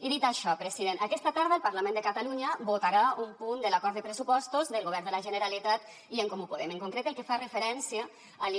i dit això president aquesta tarda el parlament de catalunya votarà un punt de l’acord de pressupostos del govern de la generalitat i en comú podem en concret el que fa referència a